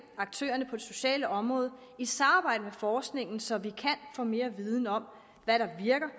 aktørerne på det sociale område i samarbejde med forskningen så vi kan få mere viden om hvad der virker